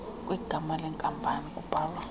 kwegama lenkampani kubhalwa